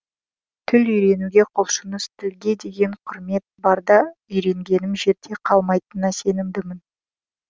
тіл үйренуге құлшыныс тілге деген құрмет барда үйренгенім жерде қалмайтынына сенімдімін